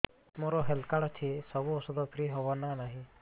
ମୋର health card ଅଛି ସବୁ ଔଷଧ ଫ୍ରି ହବ ନା ନାହିଁ